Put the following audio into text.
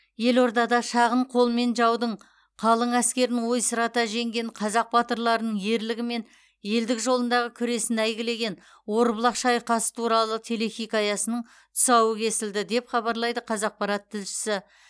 елордада шағын қолмен жаудың қалың әскерін ойсырата жеңген қазақ батырларының ерлігі мен елдік жолындағы күресін әйгілеген орбұлақ шайқасы туралы телехикаясының тұсауы кесілді деп хабарлайды қазақпарат тілшісі